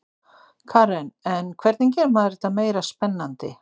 Karen: En hvernig gerir maður þetta meira spennandi?